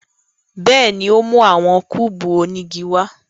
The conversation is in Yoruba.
Bẹ́ẹ̀ni, o mu awọn kúbú onigi wa